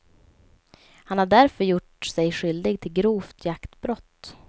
Han har därför gjort sig skyldig till grovt jaktbrott.